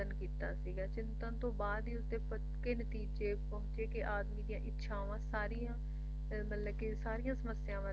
ਚਿੰਤਨ ਕੀਤਾ ਸੀਗਾ ਤੇ ਚਿੰਤਨ ਤੋਂ ਬਾਅਦ ਹੀ ਉਸਦੇ ਪੱਕੇ ਨਤੀਜੇ ਪਹੁੰਚੇ ਕੇ ਆਦਮੀ ਦੀ ਇੱਛਾਵਾਂ ਸਾਰੀਆਂ ਮਤਲਬ ਕੇ ਸਾਰੀਆਂ ਸੱਮਸਿਆਵਾਂ